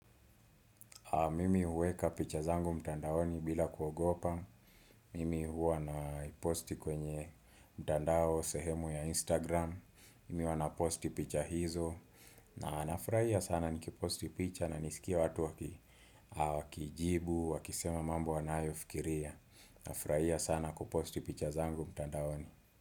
Mimi huweka picha zangu mtandaoni bila kuogopa. Mimi huwa naposti kwenye mtandao sehemu ya Instagram. Mimi huwa naposti picha hizo. Na, nafurahia sana nikiposti picha na nisikie watu wakijibu, wakisema mambo wanayofikiria. Nafurahia sana kuposti picha zangu mtandaoni.